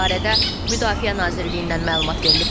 Bu barədə Müdafiə Nazirliyindən məlumat verilib.